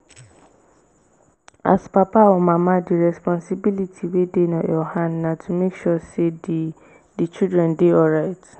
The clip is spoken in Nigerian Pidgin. as papa or mama di responsibility wey dey your hand na to make sure sey di di children dey alright